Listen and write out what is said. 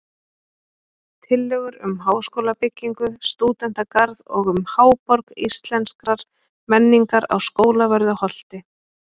Tillögur um háskólabyggingu, stúdentagarð og um Háborg Íslenskrar menningar á Skólavörðuholti